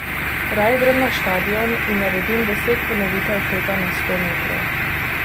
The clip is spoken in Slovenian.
Raje grem na štadion in naredim deset ponovitev teka na sto metrov.